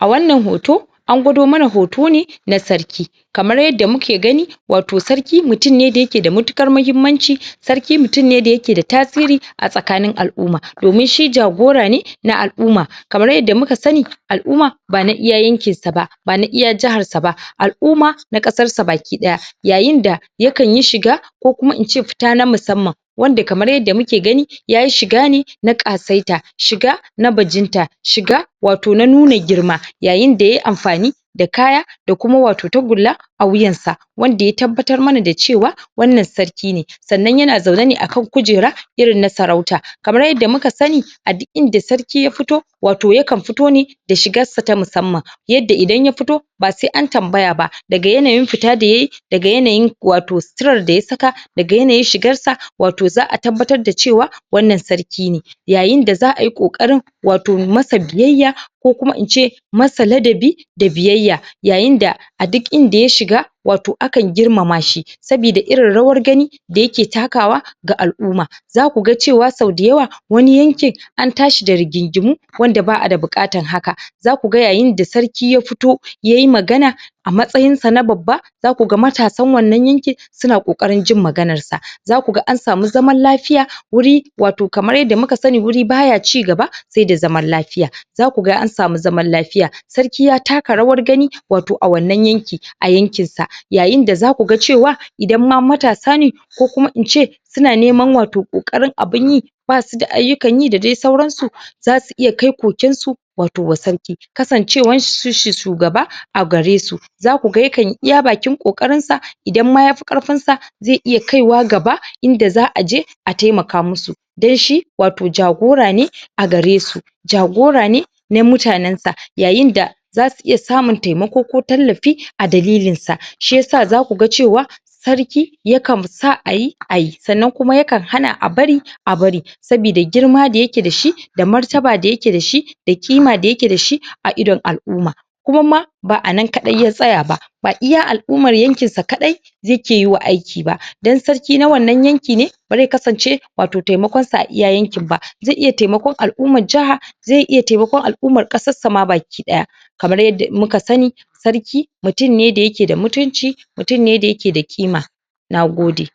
A wannan hoto, an gwado mana hoto ne na sarki kamar yadda muke gani, wato sarki mutum ne da ya ke da matuƙar muhimmanci. Sarki mutum ne da ya ke da tasiri a tsakanin al'umma. Domin shi jagora ne na al'umma. Kamar yadda muka sani al'umma ba na iya yankin sa ba. Ba na iya jahar sa ba, al'umma na ƙasar sa baki ɗaya. Yayin da yakan yi shiga, ko kuma ince fita na musamman. Wanda kamar yadda muke gani yayi shiga ne na ƙasaita. Shiga na bajinta, shiga wato na nuna girma. Yayin da yayi amfani da kaya da kuma wato tagulla a wuyan sa, wanda ya tabbatar mana da cewa, wannan sarki ne. Sannan ya na zaune a kan kujera, irin na sarauta. Kamar yadda muka sani a duk inda sarki ya fito, wato yakan fito ne da shigar sa ta musamman. Yadda idan ya fito ba sai na tambaya ba. Daga yanayin fita da yayi daga yanayin wato sitirar da ya saka daga yanayin shigar sa wato za'a tabbatar da cewa wannan sarki ne. Yayin da za'a yi ƙoƙarin wato masa biyayya ko kuma ince masa ladabi da biyayya. Yayin da a duk inda ya shiga wato akan girmama shi. Sabida irin rawar gani da ya ke takawa ga al'umma. Za ku ga cewa sau da yawa wani yankin an tashi da rigingimu wanda ba'a da buƙatan haka. Za ku ga yayin da sarki ya fito yayi magana a matsayin sa na babba za ku ga matasan wannan yankin su na ƙoƙarin jin maganar sa. Za ku ga an samu zaman lafiya wurin wato kamar yadda muka sani wuri ba ya ji cigaba sai da zaman lafiya. Za ku ga an samu zaman lafiya. Sarki ya taka rawar gani wato a wannan yanki, a yankin sa. Yayin da za ku ga cewa idan ma matasa ne, ko kuma ince su na neman wato ƙokarin abun yi ba su da ayyuka yi da dai sauran su. Za su iya kai koken su wato wa sarki. Kasancewan shi shu shugaba a gare su. Za ku ga yakan yi iya bakin ƙoƙarin sa idan ma yafi ƙarfin sa, zai iya kaiwa gaba inda za'a je a taimaka musu. Dai shi wato jagora ne a gare su. Jagora ne na mutanen sa. Yayin da za su iya samun taimako ko tallafi a dalilin sa. Shi yasa za ku ga cewa sarki yakan sa ayi, ayi, sannan kuma yakan hana a bari a bari, saboda girma da ya ke da shi da martaba da ya ke da shi, da ƙima da ya ke da shi, a idon al'umma. Kuma ma ba'a nan kaɗai ya tsaya ba, ba iya al'ummar yankin sa kaɗai zai ke yiwa aiki ba. Don sarki na wannan yanki ne bare kasance wato taimakon sa a iya wannan yankin ba. Zai iya taimakon al'ummar jaha, zai iya taimakon al'ummar ƙasar ma baki ɗaya. Kamar yadda muka sani, sarki mutum ne da ya ke da mutunci. mutum ne da ya ke da ƙima. Nagode!